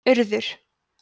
urður